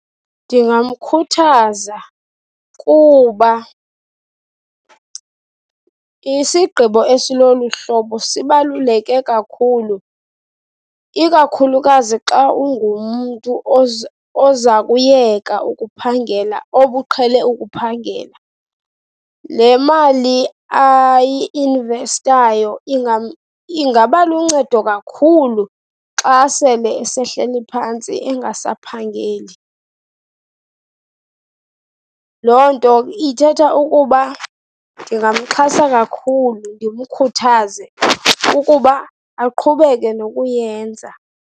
Ndingamkhuthaza kuba isigqibo esilolu hlobo sibaluleke kakhulu, ikakhulukazi xa ungumntu oza kuyeka ukuphangela obuqhele ukuphangela. Le mali ayi-investayo ingaba luncedo kakhulu xa sele esehleli phantsi engasaphangeli. Loo nto ithetha ukuba ndingamxhasa kakhulu, ndimkhuthaze ukuba aqhubeke nokuyenza.